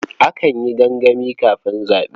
Akan yi gangami kafin zaɓe.